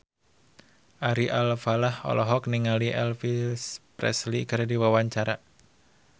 Ari Alfalah olohok ningali Elvis Presley keur diwawancara